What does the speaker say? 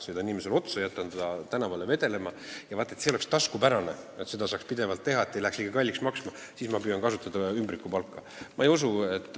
Sõidan inimesele otsa, jätan ta tänavale vedelema ja vaat selleks, et see oleks taskukohane, et seda saaks pidevalt teha, et see ei läheks liiga kalliks maksma, püüan ma kasutada ümbrikupalka – ma ei usu seda.